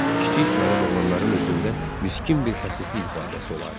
Kiçik çaylab oğlanların üzündə miskin bir xəsislik ifadəsi olardı.